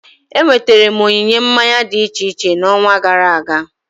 Enweterem onyinye mmanya dị iche iche na onwa gara aga